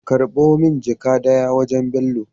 Karbo min jaka daya wajan bello